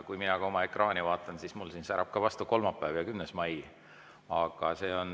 Kui mina oma ekraani vaatan, siis mulle särab siit vastu kolmapäev, 10. mai.